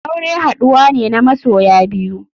Aure haduwa ne na masoya biyu.